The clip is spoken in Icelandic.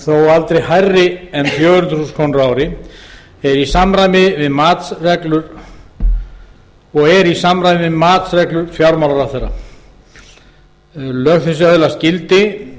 aldrei hærri en fjögur hundruð þúsund krónur á ári og er í samræmi við matsreglur fjármálaráðherra annars grein lög þessi öðlast gildi